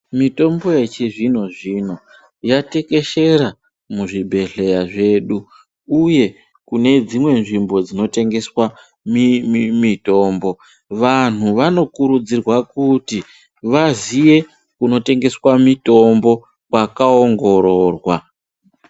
Mitombo yechizvino-zvino, yatekeshera muzvibhedhleya zvedu, uye kune dzimwe nzvimbo dzinotengeswa mitombo, vantu vanokurudzirwa kuti vaziye kunotengeswa mitombo kwakaongororwa.